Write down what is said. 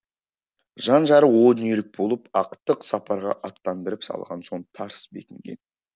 жан жары о дүниелік болып ақтық сапарға аттандырып салған соң тарс бекінген